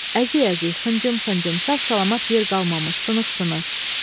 Əziz-əziz, xıncım-xıncım, sağ-salamat yer qalmamış sınıq-sınıq.